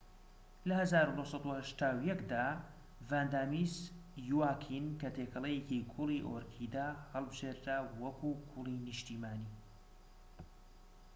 لە ١٩٨١ دا ڤاندا میس یواکین کە تێکەڵەیەکی گوڵی ئۆرکیدە هەڵبژێردرا وەکو گوڵی نیشتیمانی